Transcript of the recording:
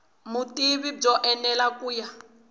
vutivi byo enela ku ya